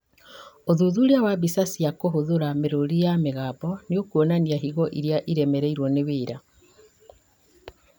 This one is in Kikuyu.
ũthuthuria wa mbica cia kũhũthũra mĩrũri ya mĩgambo nĩũkuonania higo irĩa iremereirwo nĩ wĩra